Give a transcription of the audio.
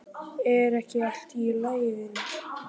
Er ekki allt í lagi vinur?